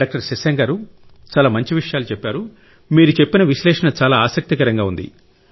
doctor Shashank గారూ మీరు చెప్పిన విశ్లేషణ చాలా ఆసక్తికరంగా ఉంది